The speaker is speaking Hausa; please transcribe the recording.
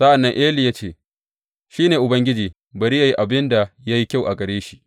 Sa’an nan Eli ya ce, Shi ne Ubangiji bari yă yi abin da ya yi kyau a gare shi.